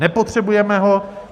Nepotřebujeme ho.